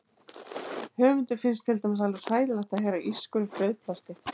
Höfundi finnst til dæmis alveg hræðilegt að heyra ískur í frauðplasti.